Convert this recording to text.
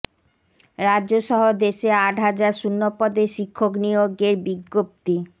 রাজ্য সহ দেশে আট হাজার শূন্যপদে শিক্ষক নিয়োগের বিজ্ঞপ্তি